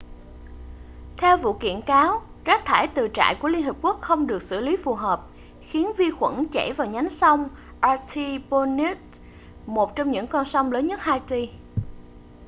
theo vụ kiện cáo rác thải từ trại của liên hợp quốc không được xử lý phù hợp khiến vi khuẩn chảy vào nhánh sông artibonite một trong những con sông lớn nhất haiti